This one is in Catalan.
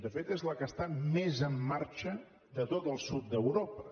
de fet és la que està més en marxa de tot el sud d’europa